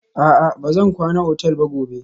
A'a, ba zan kwana otal ba gobe.